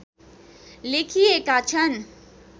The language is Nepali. लेखिएका छन्